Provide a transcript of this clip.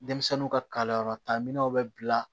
Denmisɛnninw ka kalanyɔrɔtaga minɛnw bɛ bila